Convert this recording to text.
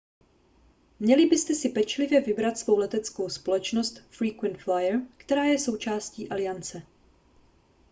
měli byste si pečlivě vybrat svou leteckou společnost frequent flyer která je součástí aliance